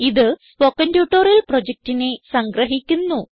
ഇത് spoken tutorial പ്രൊജക്റ്റിനെ സംഗ്രഹിക്കുന്നു